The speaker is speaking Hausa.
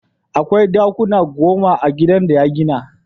Akwai ɗakuna goma a gidan da ya gina.